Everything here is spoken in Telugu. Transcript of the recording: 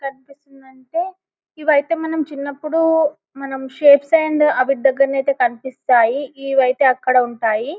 కనిపిస్తుందంటే ఇవైతే మనం చిన్నప్పుడు షేప్స్ అండ్ ఆవిడ దగ్గర అయితే కనిపిస్తాయి ఈ వైతే అక్కడ ఉంటాయి --